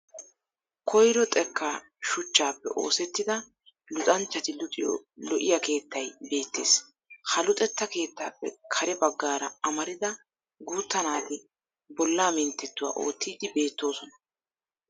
Koyro xekkaa shuchchaappe oosettida luxanchati luxiyo lo'iya keettay beettes. Ha luxetta keettappe kare baggaara amarida guutta naati bollaa minttettuwa oottiiddi beettoosona.